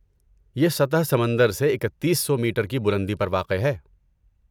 یہ سطح سمندر سے اکتیس سو میٹر کی بلندی پر واقع ہے